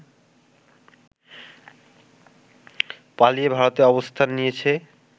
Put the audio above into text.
পালিয়ে ভারতে অবস্থান নিয়েছে